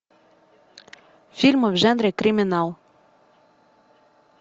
фильмы в жанре криминал